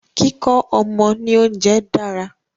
Kíkọ́ ọmọ ni oúnjẹ dára.